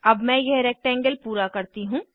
अब मैं यह रेक्टेंगल पूरा करती हूँ